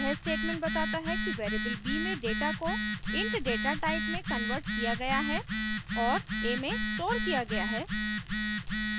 यह statement बताता है कि variable b में data को int data type में converted किया गया है और a में stored किया गया है